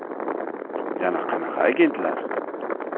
Yana qanaqa agentlar?!